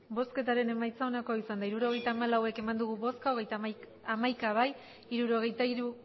hirurogeita hamalau eman dugu bozka hamaika bai hirurogeita hiru